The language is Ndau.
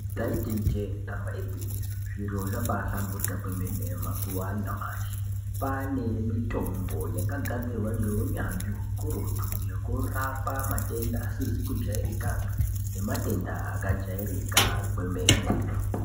Ndaiti ijee damba igwinyiso, zviro zvabaahlamburika kwemene mazuwa anyamashi. Kwaanemitombo yakagadzirwa ngeunyanzvi hukurutu. Yekurapa matenda asizi kujairikapi nematenda akajairika kwemene.